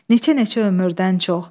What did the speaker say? Neçə-neçə ömürdən çox.